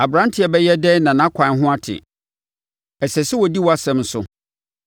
Aberanteɛ bɛyɛ dɛn na nʼakwan ho ate? Ɛsɛ sɛ ɔdi wʼasɛm so.